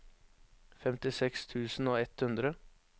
femtiseks tusen og ett hundre